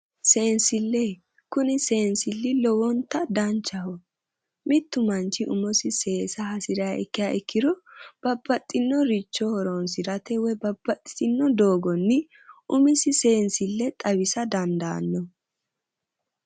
Sensile, kuni sensili lowonta danchaho ,mitu manchi umosi seesa hasiriha ikka ikkiro babbaxino horonsirate woyi babbaxitono doogoni umisi sensile xawisa dandaano